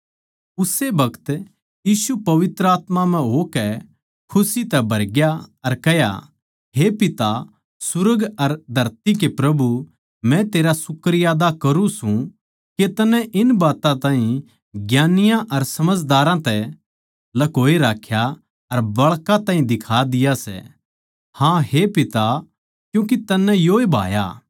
उस्से बखत यीशु पवित्र आत्मा म्ह होकै खुशी तै भरग्या अर कह्या हे पिता सुर्ग अर धरती के प्रभु मै तेरा शुक्रियादा करूँ सूं के तन्नै इन बात्तां ताहीं ज्ञानियाँ अर समझदारां तै ल्कोए राख्या अर बाळकां ताहीं दिखा दिया सै हाँ हे पिता क्यूँके तन्नै योए भाया